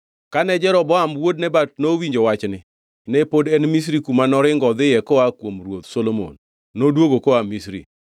Kane Jeroboam wuod Nebat nowinjo wachni (ne pod en Misri kuma noringo odhiye koa kuom ruoth Solomon), noduogo koa Misri.